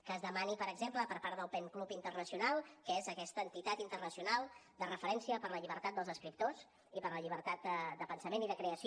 que es demani per exemple per part del pen club internacional que és aquesta entitat internacional de referència per la llibertat dels escriptors i per la llibertat de pensament i de creació